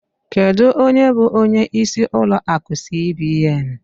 Kedụ ónyé bụ ónyé ịsị ụlọ akụ cbn?